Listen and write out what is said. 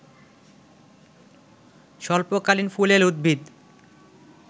স্বল্পকালীন ফুলেল উদ্ভিদ